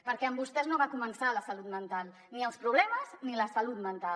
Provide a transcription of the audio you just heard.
perquè amb vostès no va començar la salut mental ni els problemes ni la salut mental